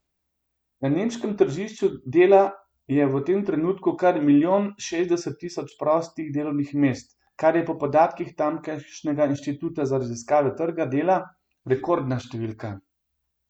Na nemškem tržišču dela je v tem trenutku kar milijon šestdeset tisoč prostih delovnih mest, kar je po podatkih tamkajšnjega Inštituta za raziskave trga dela rekordna številka.